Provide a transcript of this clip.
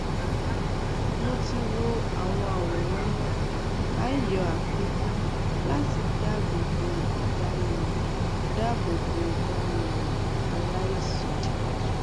mo ti wo àwọn àwòrán náà a yọ àfikún láti dáàbò bo ìdánimọ dáàbò bo ìdánimọ aláìsàn